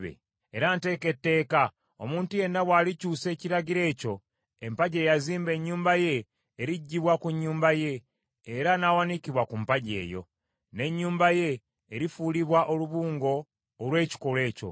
Era nteeka etteeka, omuntu yenna bwalikyusa ekiragiro ekyo, empagi eyazimba ennyumba ye eriggyibwa ku nnyumba ye, era n’awanikibwa ku mpagi eyo. N’ennyumba ye erifuulibwa olubungo olw’ekikolwa ekyo.